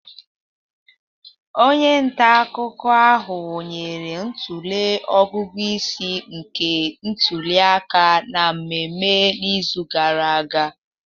Onye nta akụkọ ahụ nyere ntụle ọgụgụ isi nke ntuli aka na mmemme n'izu gara aga